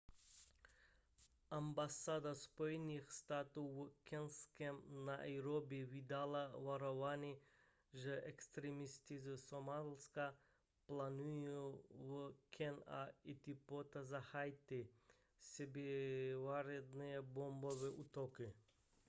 ambasáda spojených států v keňském nairobi vydala varování že extrémisté ze somálska plánují v keni a etiopii zahájit sebevražedné bombové útoky